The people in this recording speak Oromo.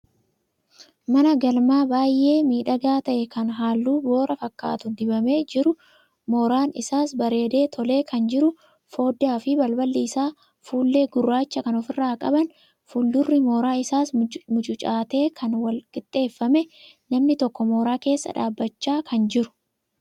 Mana galmaa baay'ee miidhagaa ta'e kan halluu boora fakkaatu dibamee jiru, mooraan isaas bareedee tolee kan jiru, foddaa fi balballi isaa fuullee gurraacha kan ofirraa qaban fuuldurri mooraa isaas mucucaatee kan wal-qixxeeffame, namni tokko mooraa keessa dhaabachaa kan jiru.